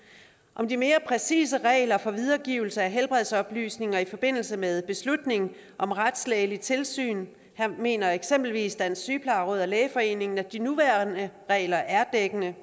om de mere præcise regler for videregivelse af helbredsoplysninger i forbindelse med beslutning om retslægeligt ligsyn her mener eksempelvis dansk sygeplejeråd og lægeforeningen at de nuværende regler er dækkende